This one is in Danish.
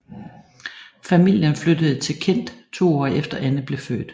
Familien flyttede til Kent to år efter Anne blev født